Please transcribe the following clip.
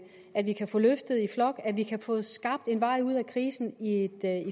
at vi kan få løftet i flok at vi kan få skabt en vej ud af krisen i i